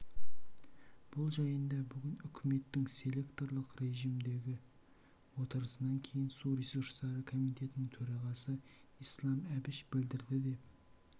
бұл жайында бүгін үкіметтің селекторлық режімдегі отырысынан кейін су ресурстары комитетінің төрағасы ислам әбіш білдірді деп